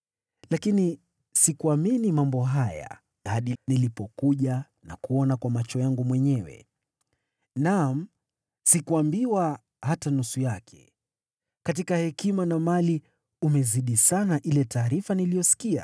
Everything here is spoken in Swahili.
Lakini sikuamini mambo haya hadi nilipokuja na kuona kwa macho yangu mwenyewe. Naam, sikuambiwa hata nusu yake; katika hekima na mali umezidi sana ile taarifa niliyoisikia.